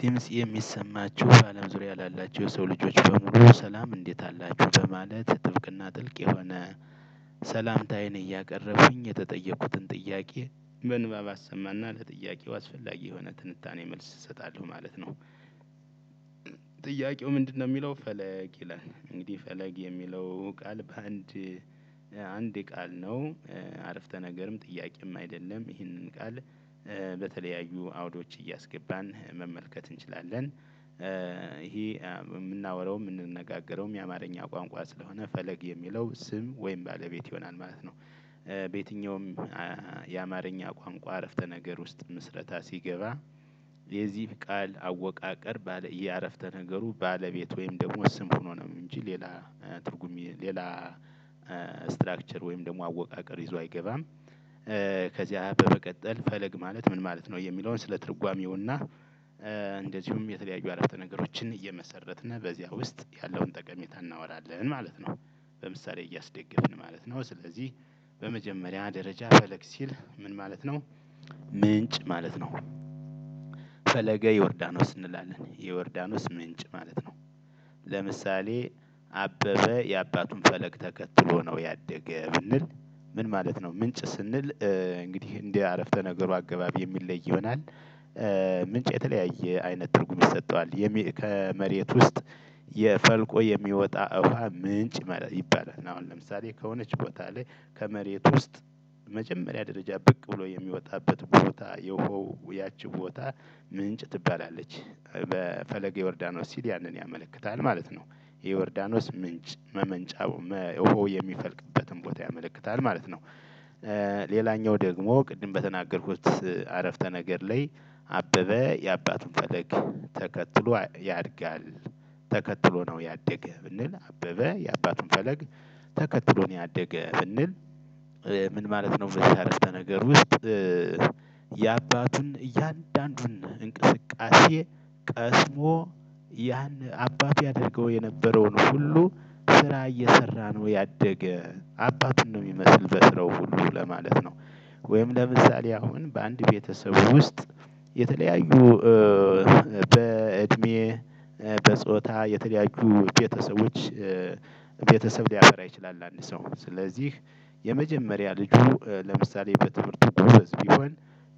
ድምስ የሚሰማችሁ በአለም ዙሪያ ላላችሁ የሰው ልጆች በሙሉ ሰላም እንዴት አላችሁ በማለት ጥብቅና ጥልቅ የሆነ ሰላምታዬን እያቀረብኩኝ የተጠየኩትን ጥያቄ በንባብ አሰማና ለጥያቄው አስፈላጊ የሆነ ትንታኔ መልስ እሰጣለሁ ማለት ነው። ጥያቄው ምንድነው የሚለው ፈለግ ይላል እንግዲህ ፈለግ የሚለው ቃል በአንድ አንድ የቃል ነው አረፍተ ነገርም ጥያቄም አይደለም ይህንን ቃል በተለያዩ አውዶች እያስገባን መመልከት እንችላለን። ይሄ የምናወራውም የምንነጋገረውም የአማርኛ ቋንቋ ስለሆነ ፈለግ የሚለው ስም ወይም ባለቤት ይሆናል ማለት ነው። በየትኛውም የአማርኛ ቋንቋ አረፍተ ነገር ውስጥ ምስረታ ሲገባ የዚህ ቃል አወቃቀር ባለ የአረፍተ ነገሩ ባለቤት ወይም ደግሞ ስም ሆኖ ነው እንጂ ሌላ ትርጉም ሌላ ስትራክቸር ወይም ደግሞ አወቃቀር ይዞ አይገባም። ከዚያ በመቀጠል ፈለግ ማለት ምን ማለት ነው? የሚለውን ስለ ትርጓሜውና እንደዚሁም የተለያዩ አረፍተ ነገሮችን እየመሰረትን በዚያ ውስጥ ያለውን ጠቀሜታ እናወራለን ማለት ነው። በምሳሌ እያስደገፍን ማለት ነው። ስለዚህ በመጀመሪያ ደረጃ ፈለግ ሲል ምን ማለት ነው? ምንጭ ማለት ነው። ፈለገ ዮርዳኖስ እንላለን የዮርዳኖስ ምንጭ ማለት ነው። ለምሳሌ አበበ የአባቱን ፈለግ ተከትሎ ነው ያደገ ብንል ምን ማለት ነው? ምንጭ ስንል እንግዲህ እንደ አረፍተ ነገሩ አገባብ የሚለይ ይሆናል። ምንጭ የተለያየ አይነት ትርጉም ይሰጠዋል ከመሬት ውስጥ የፈልቆ የሚወጣ እውሃ ምንጭ ይባላል። አሁን ለምሳሌ ከሆነች ቦታ ላይ ከመሬት ውስጥ መጀመሪያ ደረጃ ብቅ ብሎ የሚወጣበት ቦታ የውሀው ያቺ ቦታ ምንጭ ትባላለች። በፈለገ ዮርዳኖስ ሲል ያንን ያመለክታል ማለት ነው። የዮርዳኖስ ምንጭ መመንጫ ውሃው የሚፈልቅበትን ቦታ ያመለክታል ማለት ነው። ሌላኛው ደግሞ ቅድም በተናገርኩት አረፍተ ነገር ላይ አበበ የአባቱን ፈለግ ተከትሎ ያድጋል። ተከትሎ ነው ያደገ ብንል አበበ የአባቱን ፈለግ ተከትሎ ነው ያደገ ብንል? ምን ማለት ነው? በዚህ አረፍተ ነገር ውስጥ የአባቱን እያንዳንዱን እንቅስቃሴ ቀስሞ ያን አባቴ ያደርገው የነበረውን ሁሉ ስራ እየሰራ ነው ያደገ አባቱን ነው የሚመስል በስራው ሁሉ ለማለት ነው። ወይም ለምሳሌ አሁን በአንድ ቤተሰብ ውስጥ የተለያዩ በእድሜ በጾታ የተለያዩ ቤተሰቦች ቤተሰብ ሊያፈራ ይችላል። አንድ ሰው ስለዚህ የመጀመሪያ ልጁ ለምሳሌ በትምህርቱ ጎበዝ ቢሆን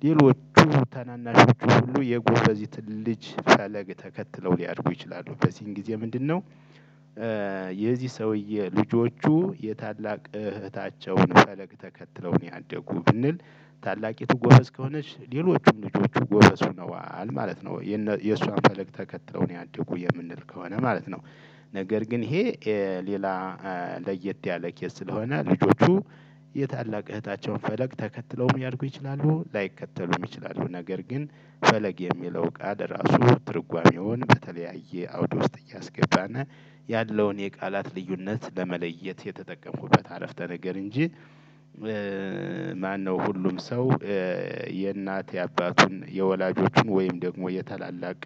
ሌሎቹ ታናናሾቹ ሁሉ የጎበዚትን ልጅ ፈለግ ተከትለው ሊያድጉ ይችላሉ በዚህን ጊዜ ምንድን ነው? የዚህ ሰውዬ ልጆቹ የታላቅ እህታቸውን ፈለግ ተከትለው ነው ያደጉ ብንል ታላቂቱ ጎበዝ ከሆነች ሌሎቹም ልጆቹ ጎበዝ ሆነዋል ማለት ነው። የእሷን ፈለግ ተከትለው ነው ያደጉ የምንል ከሆነ ማለት ነው። ነገር ግን ይሄ ሌላ ለየት ያለ ኬዝ ስለሆነ ልጆቹ የታላቅ እህታቸውን ፈለግ ተከትለውም ያልድጉ ይችላሉ ላይከተሉም ይችላሉ። ነገር ግን ፈለግ የሚለው እቃ ራሱ ትርጓሜውን በተለያየ አውድ ውስጥ እያስገባና ያለውን የቃላት ልዩነት ለመለየት የተጠቀምኩበት አረፍተ ነገር እንጂ። ማነው ሁሉም ሰው የእናት የአባቱን የወላጆቹን ወይም ደግሞ የታላላቅ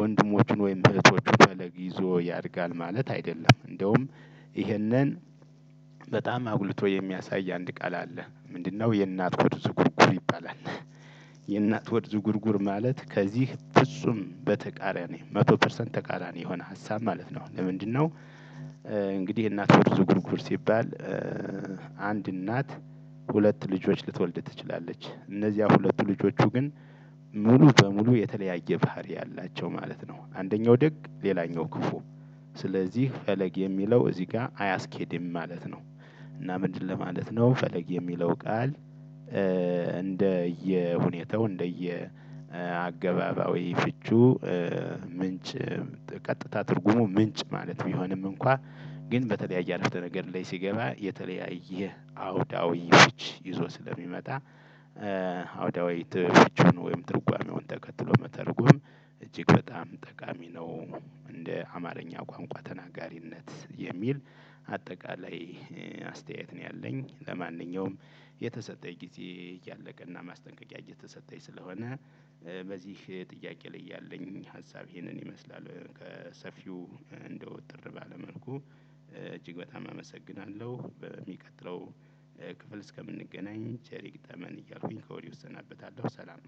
ወንድሞችን ወይም እህቶችን ፈለግ ይዞ ያድጋል ማለት አይደለም። እንደውም ይሄንን በጣም አጉልቶ የሚያሳይ አንድ ቃል አለ። ምንድነው የእናት ሆድ ዝጉርጉር ይባላል። የእናት ሆድ ዝጉርጉር ማለት ከዚህ ፍጹም በተቃራኒ መቶ ፐርሰንት ተቃራኒ የሆነ ሀሳብ ማለት ነው። ለምንድነው? እንግዲህ የእናት ሆድ ዝጉርጉር ሲባል አንድ እናት ሁለት ልጆች ልትወልድ ትችላለች እነዚያ ሁለቱ ልጆቹ ግን ሙሉ በሙሉ የተለያየ ባህሪ ያላቸው ማለት ነው አንደኛው ደግ ሌላኛው ክፉ ስለዚህ ፈለግ የሚለው እዚህ ጋር አያስኬድም ማለት ነው። እና ምንድን ለማለት ነው ፈለግ የሚለው ቃል? እንደየ ሁኔታው እንደየ አገባባዊ ፍቹ ምንጭ ቀጥታ ትርጉሙ ምንጭ ማለት ቢሆኖም እንኳ ግን በተለያየ አረፍተ ነገር ላይ ሲገባ የተለያየ አውዳዊ ፍች ይዞ ስለሚመጣ አውዳዊ ፍቹን ወይም ትርጓሜውን ተከትሎ መተርጎም እጅግ በጣም ጠቃሚ ነው። እንደ አማርኛ ቋንቋ ተናጋሪነት የሚል አጠቃላይ አስተያየት ነው ያለኝ። ለማንኛውም የተሰጠኝ ጊዜ እያለቀ እና ማስጠንቀቂያ የተሰጠኝ ስለሆነ በዚህ ጥያቄ ላይ ያለኝ ሀሳብ ይሄንን ይመስላል። ከሰፊው እንደው እጥር ባለ መልኩ እጅግ በጣም አመሰግናለሁ። በሚቀጥለው ክፍል እስከምንገናኝ ቸር ይግጠመን እያልኩኝ ከወዲሁ እሰናበታለሁ። ሰላም